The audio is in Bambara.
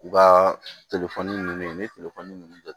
U ka ninnu ni minnu kɛ